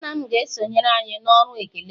nna m ga-esonyere anyị na ọrụ ekele